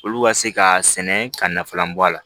Olu ka se ka sɛnɛ ka nafalan bɔ a la